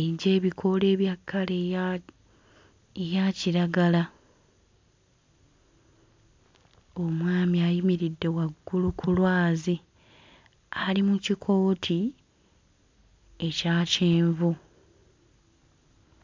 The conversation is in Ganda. egy'ebikoola bya kkala eyak eya kiragala. Omwami ayimiridde waggulu ku lwazi ali mu kikooti ekya kyenvu.